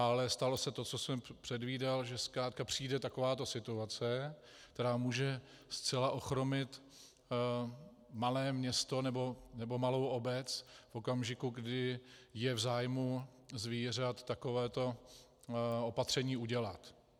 Ale stalo se to, co jsem předvídal, že zkrátka přijde takováto situace, která může zcela ochromit malé město nebo malou obec v okamžiku, kdy je v zájmu zvířat takovéto opatření udělat.